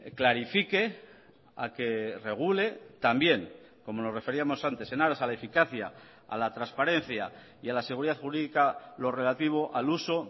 clarifique a que regule también como nos referíamos antes en aras a la eficacia a la transparencia y a la seguridad jurídica lo relativo al uso